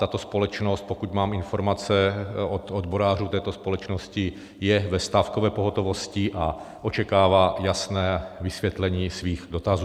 Tato společnost, pokud mám informace od odborářů této společnosti, je ve stávkové pohotovosti a očekává jasné vysvětlení svých dotazů.